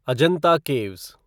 Ajanta caves